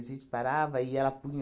A gente parava e ela punha